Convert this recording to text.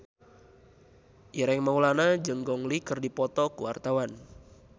Ireng Maulana jeung Gong Li keur dipoto ku wartawan